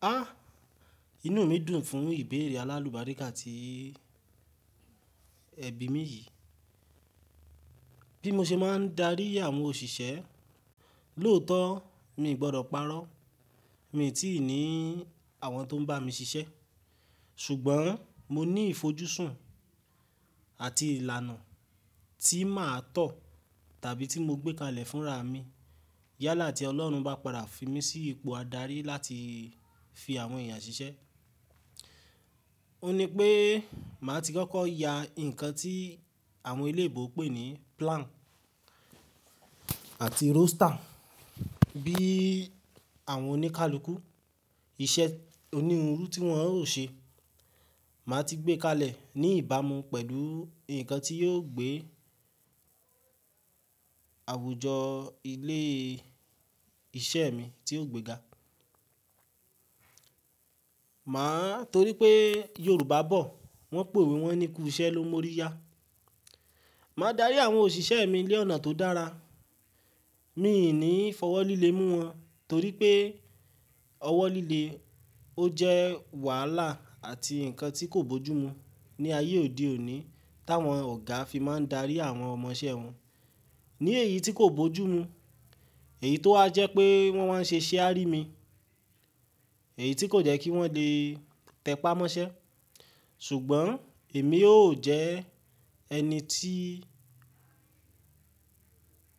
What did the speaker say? Ah! Inú mi dùn fún ìbéèrè alálùbáríkà tí ẹbí mi yìí. Bí mo ṣe máa ń darí àwọn òṣìṣẹ́, lóòótọ́ mi ò gbọdọ̀ parọ́. Mi ò tíì ní àwọn tó ń bá mi ṣiṣẹ́ ṣùgbọ́n mo ní ìfojúsùn àti ìlànà tí màá tọ̀ tàbí tí mo gbé kalẹ̀ fúnra mi yálà tí Ọlọ́run bá padà fi mí sí ipò adarí láti fi àwọn èèyàn ṣiṣẹ́. Ó ní pé màá ti kọ́kọ́ ya nǹkan tí àwọn ilé ìbò pè ní plan àti roster bí àwọn oníkálukú iṣẹ́ oníhunrú tí wọ́n ó ṣe. Màá ti gbé kalẹ̀ ní ìbámu pẹ̀lú nǹkan tí yóò gbé àwùjọ ilé iṣẹ́ mi tí ó gbéga. Màá, torí pé Yorùbá bọ̀ wọ́n pè wí wọ́n ni "kú iṣẹ́ ló mórí yá". Màá darí àwọn òṣìṣẹ́ mi lé ọ̀nà tó dára. Mi ò ní fọwọ́ líle mú wọn torí pé ọwọ́ líle ó jẹ́ wàhálà àti nǹkan tí kò bójú mu ní ayé òde òní táwọn ọ̀gá fi máa ń darí àwọn ọmọ iṣẹ́ wọn. Ní èyí tí kò bójú mu, èyí tó ha jẹ́ pé wọ́n máa ń ṣe share mí, èyí tí kò jẹ́ kí wọ́n lè tẹpá mọ́ṣẹ́ ṣùgbọ́n èmi ó jẹ́ ẹni tí,